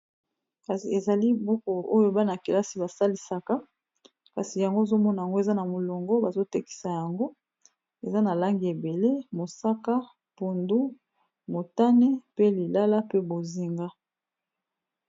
Kasi ezali buku oyo bana-kelasi basalisaka kasi yango ozomona yango eza na molongo bazotekisa yango eza na langi ebele mosaka, pondu, motane pe lilala pe bozinga.